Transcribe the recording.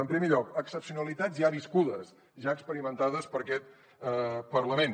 en primer lloc excepcionalitats ja viscudes ja experimentades per aquest parlament